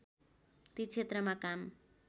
ती क्षेत्रमा काम